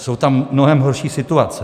Jsou tam mnohem horší situace.